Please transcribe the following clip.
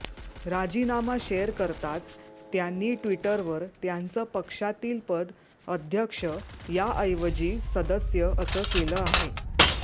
राजीनामा शेअर करताच त्यांनी ट्विटरवर त्यांचं पक्षातील पद अध्यक्ष याऐवजी सदस्य असं केलं आहे